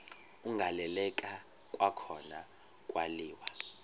agaleleka kwakhona kwaliwa